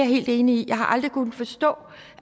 helt enig i jeg har aldrig kunnet forstå